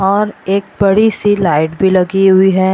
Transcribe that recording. और एक बड़ी सी लाइट भी लगी हुई है।